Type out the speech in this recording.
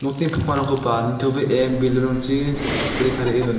pakmarangkoba nitobee belun rangchi chit-sile tarie dona.